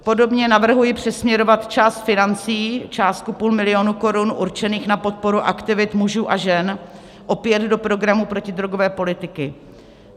Podobně navrhuji přesměrovat část financí, částku půl milionu korun, určených na podporu aktivit mužů a žen opět do programu protidrogové politiky.